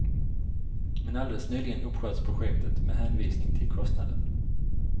Men alldeles nyligen uppsköts projektet, med hänvisning till kostnaden.